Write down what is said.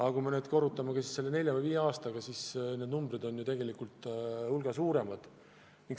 Ja kui me korrutame selle nelja või viie aastaga, siis need numbrid on ju tegelikult veelgi suuremad.